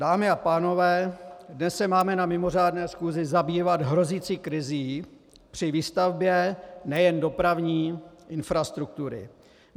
Dámy a pánové, dnes se máme na mimořádné schůzi zabývat hrozící krizí při výstavbě nejen dopravní infrastruktury.